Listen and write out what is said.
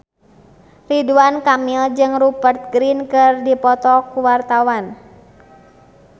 Ridwan Kamil jeung Rupert Grin keur dipoto ku wartawan